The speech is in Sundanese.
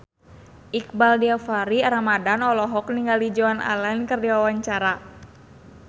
Iqbaal Dhiafakhri Ramadhan olohok ningali Joan Allen keur diwawancara